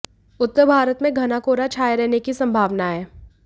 उत्तर भारत में घना कोहरा छाए रहने की संभावना है